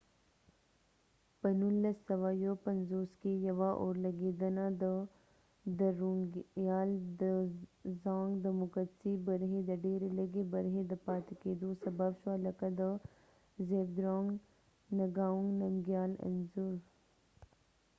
په 1951کې ، یوه اورلګیدنه د درونګیال دوزانګ drunkgyal dozong د مقدسی برخی د ډیری لږی برخی د پاتی کېدو سبب شوه ،لکه د زابدرونګ نګاونګ نمګیال zhabdrung ngawang namgyalانځور